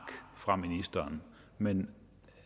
fra ministeren men